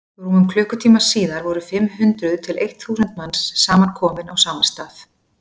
rúmum klukkutíma síðar voru fimm hundruð til eitt þúsund manns samankomin á sama stað